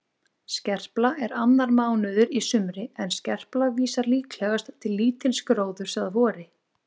Skerpla er annar mánuður í sumri en skerpla vísar líklegast til lítils gróðurs að vori.